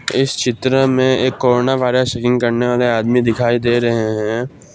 इस चित्र में एक कोरोना वायरस सेटिंग करने वाले आदमी दिखाई दे रहे हैं।